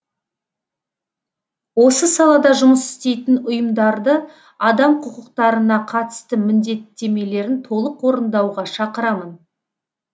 осы салада жұмыс істейтін ұйымдарды адам құқықтарына қатысты міндеттемелерін толық орындауға шақырамын